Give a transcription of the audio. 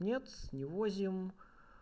нет не возим